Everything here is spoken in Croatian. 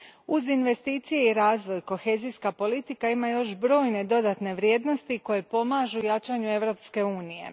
Uz investicije i razvoj, kohezijska politika ima još brojne dodatne vrijednosti koje pomažu jačanju Europske unije.